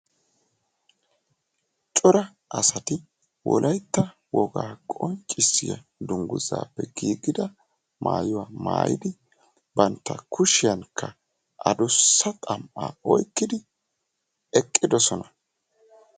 cora asati wolaytta wogaa qonccissiya danguzaappe giigida maayuwa maayidi banta kushiyankka qeeri xam'aa oyqqidi eqqidosona.